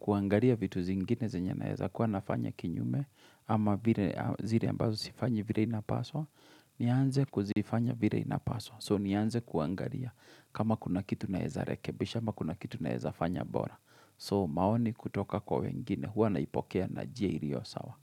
kuangalia vitu zingine zenye naeza, kuwa nafanya kinyume, ama zile ambazo sifanyi vile inapaswa, nianze kuzifanya vile inapaswa, so nianze kuangalia, kama kuna kitu naeza rekebisha, ama kuna kitu naeza fanya bora, so maoni kutoka kwa wengine, huwa naipokea na njia iliyo sawa.